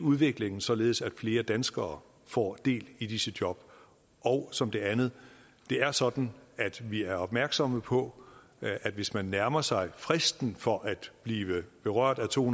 udviklingen således at flere danskere får del i disse job og som det andet det er sådan at vi er opmærksomme på at hvis man nærmer sig fristen for at blive berørt af to